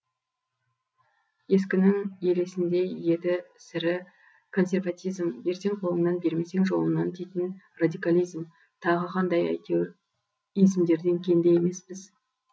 ескінің елесіндей еті сірі консерватизм берсең қолыңнан бермесең жолыңнан дейтін радикализм тағы қандай әйтеуір измдерден кенде емеспіз